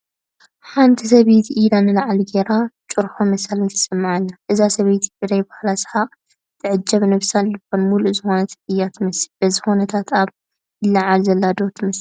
ሓንቲ ሰበይቲ ኢዳ ንላዕሊ ገይራ ጭርሆ መሳሊ ተስምዕ ኣላ፡፡ እዛ ሰበይቲ ብናይ ባዕላ ስሓቕ ትዕጀብ ነብሳን ልባን ሙሉእ ዝኾነት እያ ትመስል፡፡ በዚ ኩነታታ ኣብ ምልዕዓል ዘላ ዶ ትመስል?